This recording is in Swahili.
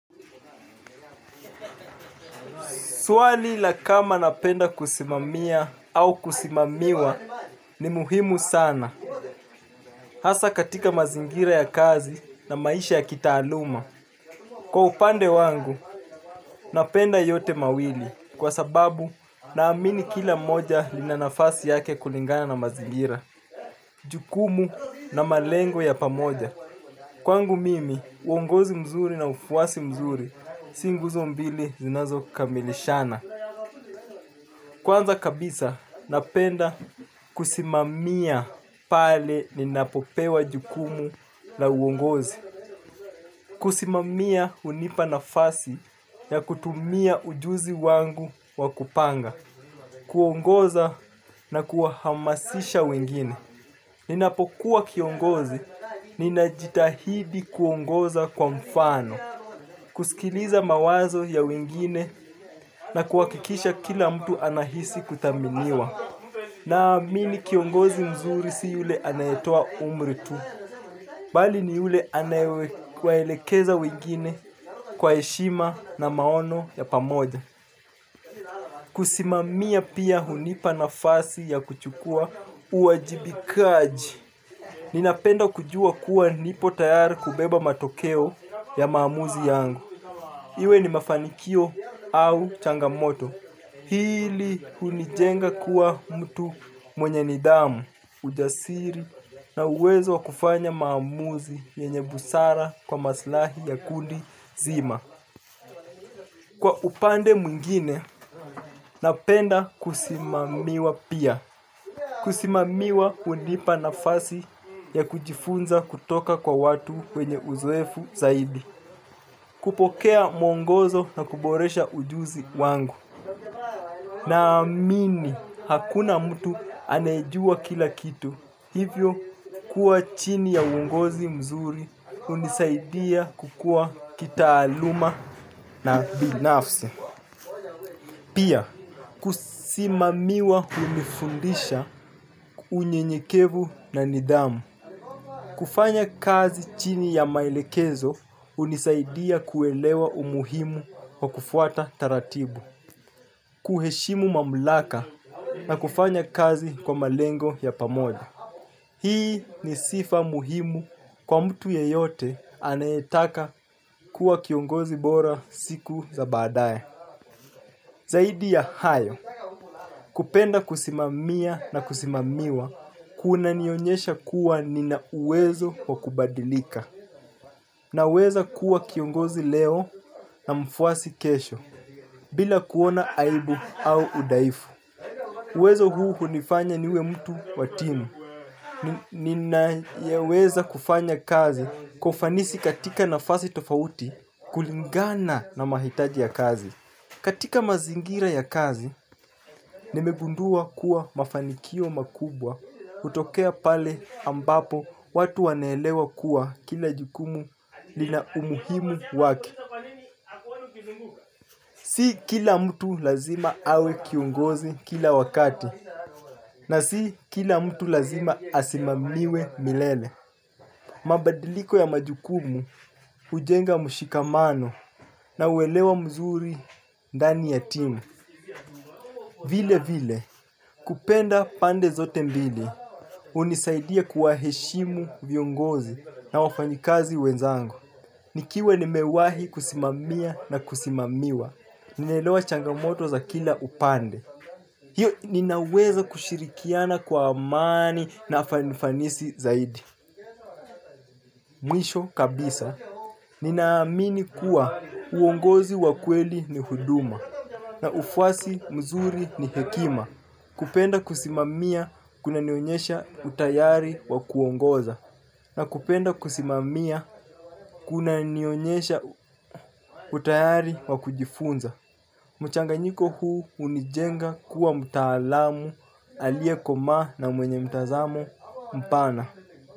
Suwali la kama napenda kusimamia au kusimamiwa ni muhimu sana. Hasa katika mazingira ya kazi na maisha ya kitaaluma. Kwa upande wangu napenda yote mawili. Kwa sababu na amini kila moja linanafasi yake kulingana na mazingira. Jukumu na malengo ya pamoja. Kwa ngu mimi uongozi mzuri na ufuwasi mzuri. Singuzo mbili zinazo kamilishana. Kwanza kabisa, napenda kusimamia pale ninapopewa jukumu na uongozi. Kusimamia unipa nafasi ya kutumia ujuzi wangu wakupanga. Kuongoza na kuahamasisha wengine. Ninapokuwa kiongozi, ninajitahidi kuongoza kwa mfano. Kusikiliza mawazo ya wengine na kuakikisha kila mtu anahisi kutaminiwa. Na mini kiongozi mzuri si yule anayetoa umri tu. Bali ni yule anayewe kwaelekeza wegine kwa eshima na maono ya pamoja. Kusimamia pia hunipa na fasi ya kuchukua uajibikaji. Ninapenda kujua kuwa nipo tayari kubeba matokeo ya maamuzi yangu. Iwe ni mafanikio au changamoto hili hunijenga kuwa mtu mwenye nidamu. Mjasiri na uwezo wa kufanya maamuzi yenye busara kwa maslahi ya kundi zima kwa upande mwingine napenda kusimamiwa pia. Kusimamiwa hunipa nafasi ya kujifunza kutoka kwa watu wenye uzoefu zaidi. Kupokea mwongozo na kuboresha ujuzi wangu. Na amini hakuna mtu anejua kila kitu. Hivyo, kuwa chini ya ungozi mzuri unisaidia kukua kita aluma na binafsi. Pia kusimamiwa hunifundisha unyenyekevu na nidhamu. Kufanya kazi chini ya maelekezo unisaidia kuelewa umuhimu wa kufuata taratibu. Kuheshimu mamlaka na kufanya kazi kwa malengo ya pamoja. Hii ni sifa muhimu kwa mtu yeyote anetaka kuwa kiongozi bora siku za badae. Zaidi ya hayo, kupenda kusimamia na kusimamiwa, kuna nionyesha kuwa nina uwezo wa kubadilika. Na weza kuwa kiongozi leo na mfwasi kesho, bila kuona aibu au udaifu. Uwezo huu hunifanya niwe mtu watimu. Nina yeweza kufanya kazi kwa ufanisi katika nafasi tofauti kulingana na mahitaji ya kazi. Katika mazingira ya kazi nimegundua kuwa mafanikio makubwa hutokea pale ambapo watu wanaelewa kuwa kila jukumu lina umuimu wake. Si kila mtu lazima awe kiongozi kila wakati, na si kila mtu lazima asimamiwe milele. Mabadiliko ya majukumu, ujenga mushikamano na uelewa mzuri ndani ya timu. Vile vile, kupenda pande zote mbili, unisaidia kuwa heshimu viongozi na wafanyikazi wenzangu. Nikiwe nimewahi kusimamia na kusimamiwa ninelewa changamoto za kila upande. Hiyo ninaweza kushirikiana kwa amani na fanifanisi zaidi mwisho kabisa ninaamini kuwa uongozi wa kweli ni huduma. Na ufwasi mzuri ni hekima. Kupenda kusimamia kuna nionyesha utayari wa kuongoza na kupenda kusimamia kuna nionyesha utayari wa kujifunza. Mchanga nyiko huu unijenga kuwa mtaalamu alie koma na mwenye mtazamo mpana.